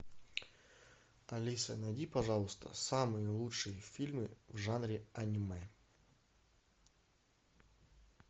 алиса найди пожалуйста самые лучшие фильмы в жанре аниме